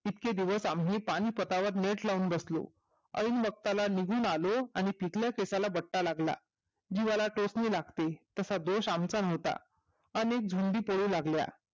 इतके दिवस पानिपतवर नेट लावून बसलो एन वक्ताला निघून आलो तिथल्याच एकाला धोका लागला जीवाला टोपनी लागते तसा दोष आमचा नव्हता अनेक धूंदी पोळॊ लागल्या